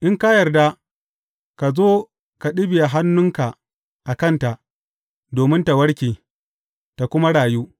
In ka yarda, ka zo ka ɗibiya hannunka a kanta, domin ta warke, ta kuma rayu.